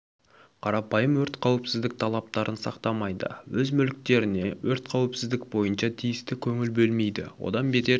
қарапайым өрт қауіпсіздік талаптарын сақтамайды өз мүліктеріне өрт қауіпсіздік бойынша тиісті көңіл бөлмейді одан бетер